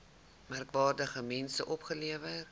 merkwaardige mense opgelewer